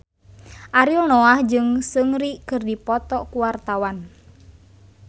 Ariel Noah jeung Seungri keur dipoto ku wartawan